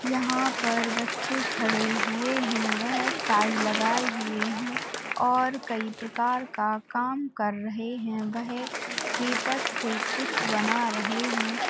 यहाँ पर बच्चे खड़े हुए हैं। वह टाइ लगाए हुए हैं और कई प्रकार का काम कर रहे हैं। वह पेपर से कुछ बना रहे हैं।